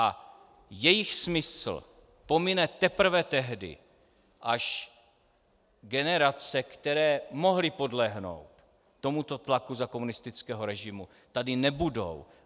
A jejich smysl pomine teprve tehdy, až generace, které mohly podlehnout tomuto tlaku za komunistického režimu, tady nebudou.